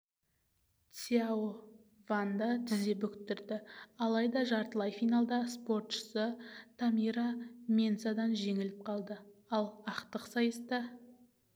цзяо ванды тізе бүктірді алайда жартылай финалда спортшысы тамира менсадан жеңіліп қалды ал ақтық сайыста